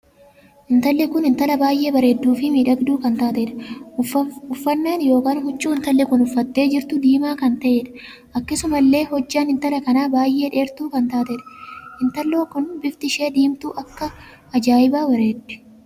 Intalli Kun intala baay'ee bareedduu fi miidhagduu kan taateedha. uffannaan ykn huccuu intalli kun uffattee jirtu diimaa kan taheedha. akkasuma illee hojjaan intala kanaa baay'ee dheertuu kan taateedha. intallo kun bifti ishee diimtuu akka ajaa'ibaa bareeddi.